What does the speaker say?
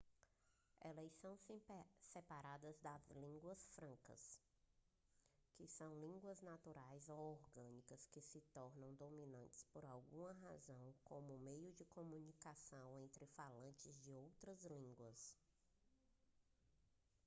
elas são separadas das línguas francas que são línguas naturais ou orgânicas que se tornam dominantes por alguma razão como meio de comunicação entre falantes de outras línguas